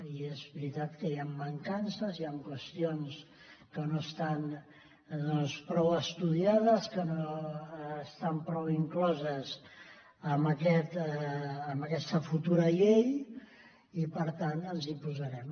i és veritat que hi han mancances hi han qüestions que no estan prou estudiades que no estan prou incloses en aquesta futura llei i per tant ens hi posarem